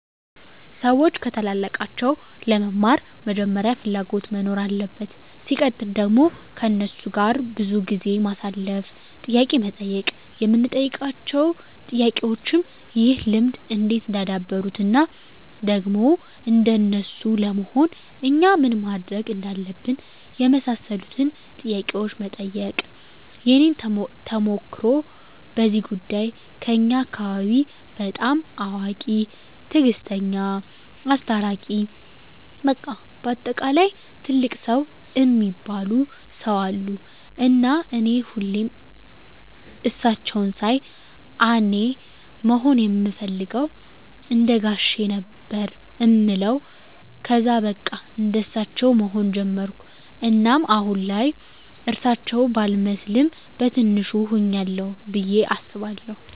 ሰዎች ከታላላቃቸው ለመማር መጀመሪያ ፍላጎት መኖር አለበት ሲቀጥል ደግሞ ከነሱ ጋር ብዙ ጊዜ ማሳለፍ፣ ጥያቄ መጠየቅ የምንጠይቃቸው ጥያቄዎችም ይህን ልምድ እንዴት እንዳደበሩት እና ደግሞ እንደነሱ ለመሆን እኛ ምን ማድረግ እንዳለብን የመሳሰሉትን ጥያቄዎች መጠየቅ። የኔን ተሞክሮ በዚህ ጉዳይ ከኛ አካባቢ በጣም አዋቂ፣ ትግስተኛ፣ አስታራቂ በቃ በአጠቃላይ ትልቅ ሰው እሚባሉ ሰው አሉ እና እኔ ሁሌም እሳቸውን ሳይ አኔ መሆን እምፈልገው እንደጋሼ ነው ነበር እምለው ከዛ በቃ እንደሳቸው መሆን ጀመርኩ እናም አሁን ላይ እርሳቸው ባልመስልም በቲንሹ ሁኛለሁ ብዬ አስባለሁ።